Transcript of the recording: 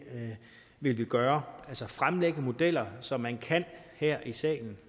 vil vi gøre altså fremlægge modeller så man her i salen